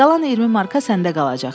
Qalan 20 marka səndə qalacaq.